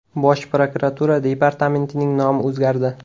Bosh prokuratura departamentining nomi o‘zgardi.